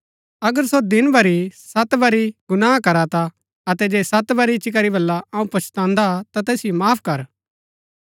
अगर सो दिन भरी सत बरी तेरै विरूद्ध गुनाह करा ता अतै जे सत बरी इच्ची करी बल्ला अऊँ पच्छतान्दा ता तैसिओ माफ कर